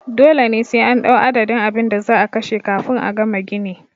Dole sai an ɗau adadin abinda za'a kashe kafin a gama gini